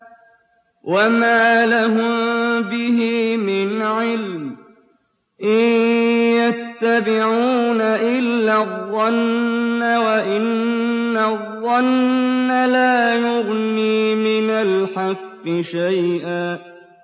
وَمَا لَهُم بِهِ مِنْ عِلْمٍ ۖ إِن يَتَّبِعُونَ إِلَّا الظَّنَّ ۖ وَإِنَّ الظَّنَّ لَا يُغْنِي مِنَ الْحَقِّ شَيْئًا